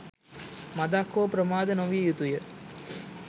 මඳක් හෝ ප්‍රමාද නොවිය යුතුය.